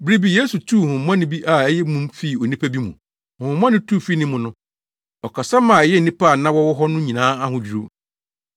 Bere bi Yesu tuu honhommɔne bi a ɛyɛ mum fii onipa bi mu. Honhommɔne no tu fii ne mu no, ɔkasa ma ɛyɛɛ nnipa a na wɔwɔ hɔ no nyinaa ahodwiriw.